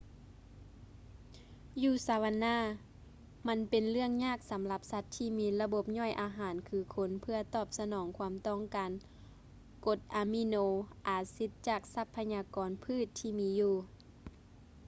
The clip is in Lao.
ຢູ່ savanna ມັນເປັນເລື່ອງຍາກສຳລັບສັດທີ່ມີລະບົບຍ່ອຍອາຫານຄືຄົນເພື່ອຕອບສະໜອງຄວາມຕ້ອງການກົດອະມີໂນອາຊິດຈາກຊັບພະຍາກອນພືດທີ່ມີຢູ່